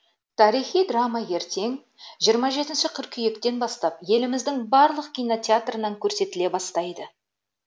тарихи драма ертең жирма жетінші қыркүйектен бастап еліміздің барлық кинотеатрынан көрсетіле бастайды